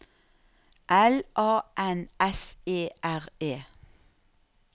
L A N S E R E